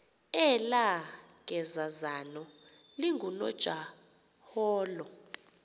elaa gezazana lingunojaholo